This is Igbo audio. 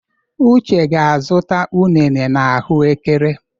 Uche ga-azụta unere na ahụ ekere.